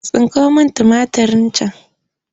Tsinko min tumatirin can!